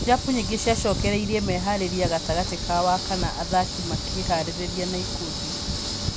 Irabu nyingĩ ciacokereirie meharĩrĩria gatagatĩ ka wa-kana athaki makĩĩharĩrĩria na ikundi